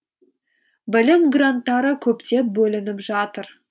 білім гранттары көптеп бөлініп жатыр